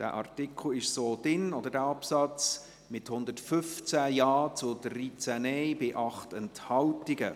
Dieser Absatz ist so im Gesetz festgehalten, mit 115 Ja- gegen 13 Nein-Stimmen bei 8 Enthaltungen.